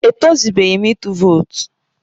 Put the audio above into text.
E tọzubeghi m ịtụ vootu